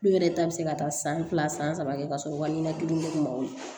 Tulo yɛrɛ ta bi se ka taa san fila san saba kɛ ka sɔrɔ u ka ɲinɛ kelen ma wo ye